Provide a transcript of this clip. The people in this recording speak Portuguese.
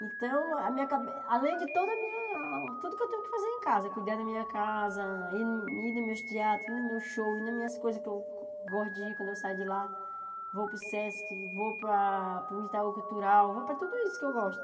Então, a minha cabe além de toda a minha tudo que eu tenho que fazer em casa, cuidar da minha casa, ir ir nos meus teatros, ir no meu show, ir nas minhas coisas que eu gosto de ir quando eu saio de lá, vou para o Sesc, vou para o Itaú Cultural, vou para tudo isso que eu gosto.